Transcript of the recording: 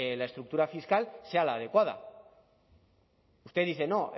la estructura fiscal sea la adecuada usted dice no